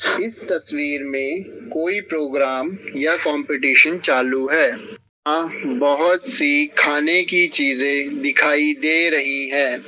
इस तस्वीर में कोई प्रोग्राम या कॉम्पिटीशन चालू है यहां बहुत सी खाने की चीजें दिखाई दे रही हैं।